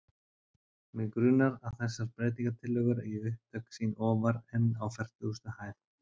Mig grunar, að þessar breytingartillögur eigi upptök sín ofar en á fertugustu hæð.